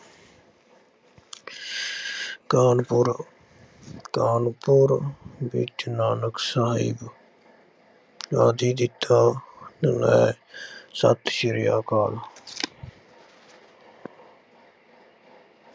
ਕਾਨਪੁਰ ਕਾਨਪੁਰ ਵਿੱਚ ਨਾਨਕਸ਼ਾਹੀ ਆਦਿ ਦੀ ਥਾਂ ਨੇ ਸਤਿ ਸ੍ਰੀ ਅਕਾਲ।